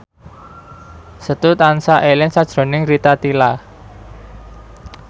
Setu tansah eling sakjroning Rita Tila